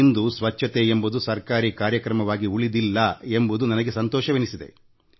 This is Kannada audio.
ಇಂದು ಸ್ವಚ್ಛತೆಯೆಂಬುದು ಸರ್ಕಾರೀ ಕಾರ್ಯಕ್ರಮವಾಗಿ ಉಳಿದಿಲ್ಲ ಎಂಬುದು ನನಗೆ ಸಂತೋಷವೆನಿಸುತ್ತದೆ